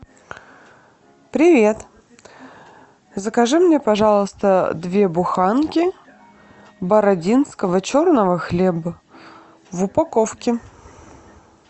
привет закажи мне пожалуйста две буханки бородинского черного хлеба в упаковке